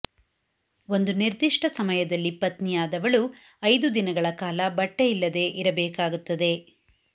ಒಂದು ನಿರ್ದಿಷ್ಟ ಸಮಯದಲ್ಲಿ ಪತ್ನಿಯಾದವಳು ಐದು ದಿನಗಳ ಕಾಲ ಬಟ್ಟೆಯಿಲ್ಲದೆ ಇರಬೇಕಾಗುತ್ತದೆ